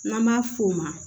N'an b'a f'o ma